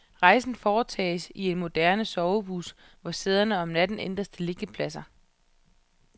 Rejsen foretages i en moderne sovebus, hvor sæderne om natten ændres til liggepladser.